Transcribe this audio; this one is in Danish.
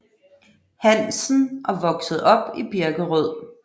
Hansen og voksede op i Birkerød